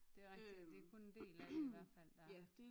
Det er rigtig det er kun en del af det i hvert fald der